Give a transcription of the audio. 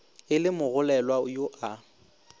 e le mogolelwa yo a